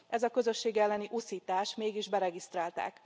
Ez a közösség elleni uszítás, mégis beregisztrálták.